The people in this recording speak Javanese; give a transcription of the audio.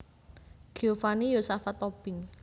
Giovanni Yosafat Tobing